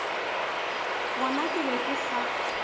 gona ke be ke sa